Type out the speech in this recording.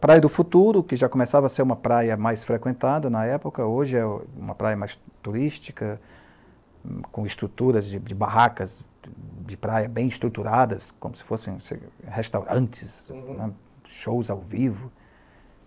Praia do Futuro, que já começava a ser uma praia mais frequentada na época, hoje é uma praia mais turística, com estruturas de de barracas, de de praias bem estruturadas, como se fossem restaurantes né, shows ao vivo.